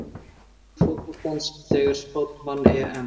Sigur fótboltans þegar Spánn vann EM!